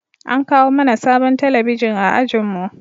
An kawo mana sabon talabijin a ajinmu